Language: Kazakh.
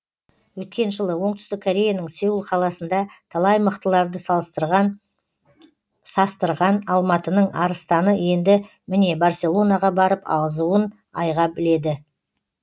өткен жылы оңтүстік кореяның сеул қаласында талай мықтыларды састырған алматының арыстаны енді міне барселонаға барып азуын айға біледі